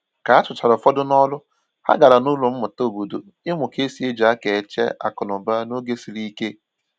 Ka a chụchara ụfọdụ n'ọrụ, ha gàrà n’ụlọ mmụta obodo ịmụ ka esi eji aka e che akụnụba n’oge siri ike